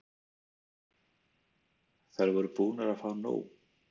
Þær voru búnar að fá nóg.